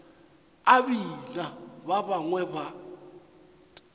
a bina ba bangwe ba